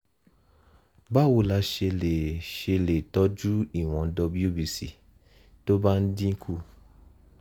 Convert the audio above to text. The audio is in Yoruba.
báwo la ṣe lè ṣe lè tọ́jú ìwọ̀n wbc tó bá dín kù?